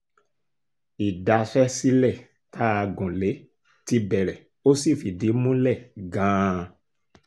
ìdaṣẹ́ sílẹ̀ tá a gùn lé ti bẹ̀rẹ̀ ó sì fìdí múlẹ̀ gan-an